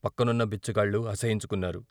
పక్కనున్న బిచ్చగాళ్ళు అసహ్యించుకున్నారు.